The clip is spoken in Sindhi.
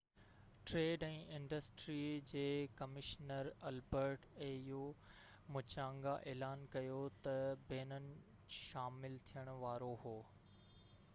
au ٽريڊ ۽ انڊسٽري جي ڪمشنر البرٽ مُچانگا اعلان ڪيو ته بينن شامل ٿيڻ وارو هو